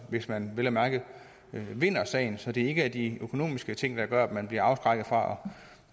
hvis man vel at mærke vinder sagen så det ikke er de økonomiske ting der gør at man bliver afskrækket fra